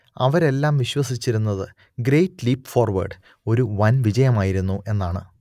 അവരെല്ലാം വിശ്വസിച്ചിരുന്നത് great leap forward ഒരു വൻ വിജയമായിരുന്നു എന്നാണ്